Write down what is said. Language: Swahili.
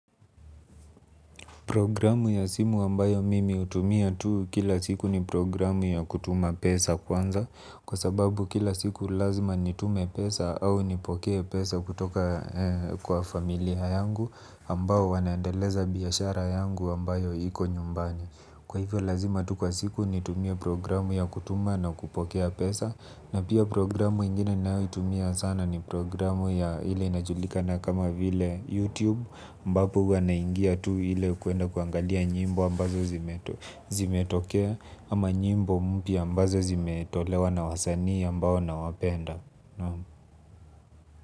Programu ya simu ambayo mimi hutumia tu kila siku ni programu ya kutuma pesa kwanza. Kwa sababu kila siku lazima nitume pesa au nipokee pesa kutoka kwa familia yangu ambao wanaendeleza biashara yangu ambayo iko nyumbani. Kwa hivyo lazima tu kwa siku nitumie programu ya kutuma na kupokea pesa. Na pia programu ingine ninayoitumia sana ni programu ya ile inajulikana kama vile YouTube ambapo huwa naingia tu ile kuenda kuangalia nyimbo ambazo zimetokea. Ama nyimbo mpya ambazo zimetolewa na wasanii ambao nawapenda.